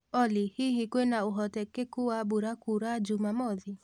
olly hĩhĩ kwina ũhotekekũ wa mbũra kũura jũmamothĩ